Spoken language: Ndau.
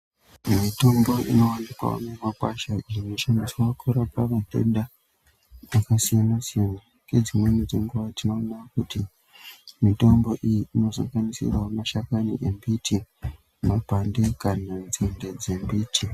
Mitombo inowanikwa mumakwasha inoshandiswa kurapa matenda akasiyana- siyana. Ngedzimweni dzenguwa tinoona kuti mitombo iyi inosanganisirawo mashakani embiti, mapande kana nzinde dzembiti.